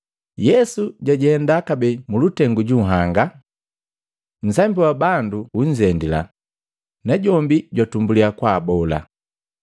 Yesu jajenda kabee mulutengu ju nhanga. Nsambi wa bandu unzendila, na jombi jwatumbulya kwaabola.